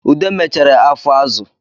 Ude mechere afọ azụ